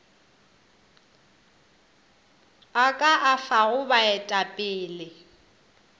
o ka a fago baetapele